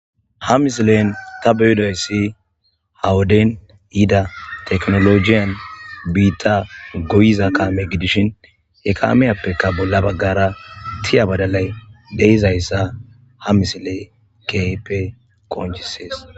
Ha misilen ta beydoyssi hawoden yida teknolojiyan biitta goyiza qaame gidishin he kaameyappekka bolla baggara tiya badalay deizayssa ha misiley keype qonjisees.